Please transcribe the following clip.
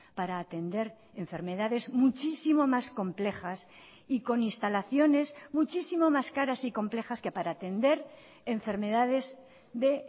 para atender enfermedades muchísimo más complejas y con instalaciones muchísimo más caras y complejas que para atender enfermedades de